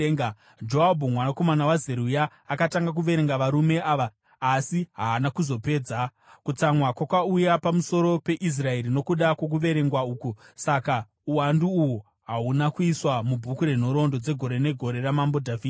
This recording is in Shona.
Joabhu mwanakomana waZeruya akatanga kuverenga varume ava asi haana kuzopedza. Kutsamwa kwakauya pamusoro peIsraeri nokuda kwokuverengwa uku, saka uwandu uhu hahuna kuiswa mubhuku renhoroondo dzegore negore raMambo Dhavhidhi.